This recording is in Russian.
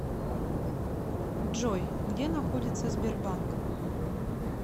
джой где находится сбербанк